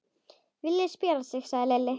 Villi spjarar sig, sagði Lilli.